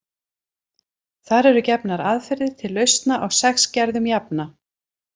Þar eru gefnar aðferðir til lausna á sex gerðum jafna.